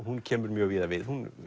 hún kemur mjög víða við hún